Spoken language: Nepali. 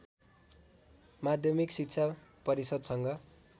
माध्यमिक शिक्षा परिषद्सँग